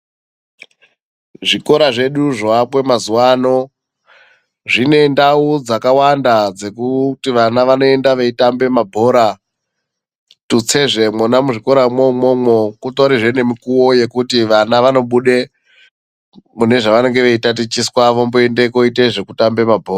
Zvikora zvedu zvoakwe mazuwano zvine ndau dzakawanda dzekuti vana vanoenda veitambe mabhora. Tutsezve mwona muzvikoramwo imwomwo, kutorizve nemikuwo yekuti vana vanobude mune zvavanenge veitatichiswa vomboende koite zvekutambe mabhora.